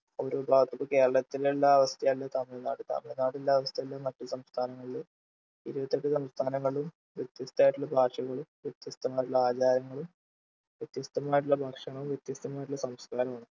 ഓരോ ഭാഗത്ത് കേരളത്തിലുള്ള അവസ്ഥയല്ല തമിഴ്നാട് തമിഴ്നാടുള്ള അവസ്ഥയല്ല മറ്റു സംസ്ഥാനങ്ങളിൽ ഇരുപത്തെട്ടു സംസ്ഥാനങ്ങളിലും വ്യത്യസ്തമായിട്ടുള്ള ഭാഷകളും വ്യത്യസ്തമായിട്ടുള്ള ആചാരങ്ങളും വ്യത്യസ്തമായിട്ടുള്ള ഭക്ഷണവും വ്യത്യസ്തമായിട്ടുള്ള സംസ്കാരവുമാണ്